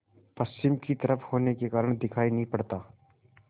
पश्चिम की तरफ होने के कारण दिखाई नहीं पड़ता